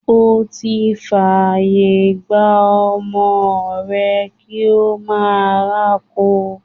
O ti fàyè gba ọmọ rẹ kí ó máa rákò.